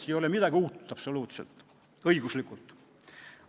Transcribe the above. Siin ei ole õiguslikult absoluutselt midagi uut.